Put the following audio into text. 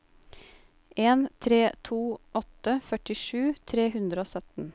en tre to åtte førtisju tre hundre og sytten